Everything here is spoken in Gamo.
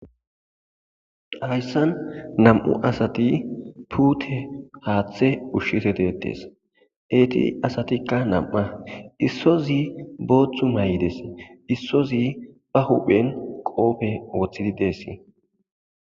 hayssan nam7u asati puute haaththe ushshide detees eti asatikka nam7a issozi booththu may7ides issozi ba huphen qoofe woththidi dees